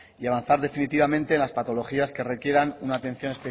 y avanzar definitivamente en las patologías que requieran una atención